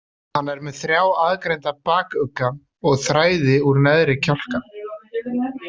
Hann er með þrjá aðgreinda bakugga og þræði úr neðri kjálka.